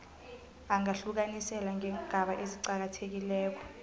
angahlukaniseka ngeengaba eziqakathekileko